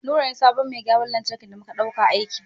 Nura ne sabon mai gyaran lantarki da muka ɗauka aiki.